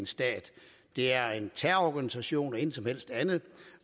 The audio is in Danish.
stat det er en terrororganisation intet som helst andet